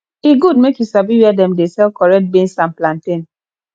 e good make you sabi where dem dey sell correct beans and plantain